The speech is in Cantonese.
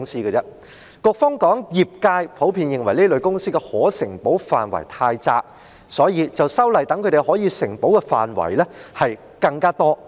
局方指業界普遍認為這類公司的可承保範圍太窄，所以，便修例擴闊他們可承保的範圍。